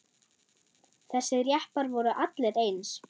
Þessir jeppar voru allir eins.